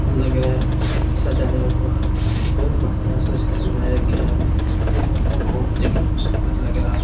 लग रहा है सजाया हुआ बहुत बढ़िया सजाया गया है यह मंडप बहुत देखने मे सुंदर लग रहा है।